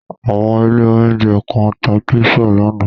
Àwọn ilé-oúnjẹ kan tá pizza lánàá.